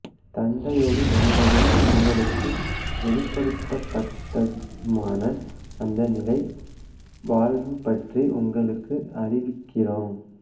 தந்தையோடு இருந்ததும் எங்களுக்கு வெளிப்படுத்தப்பட்டதுமான அந்த நிலை வாழ்வு பற்றி உங்களுக்கு அறிவிக்கிறோம்